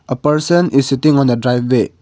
a person is sitting on a driveway.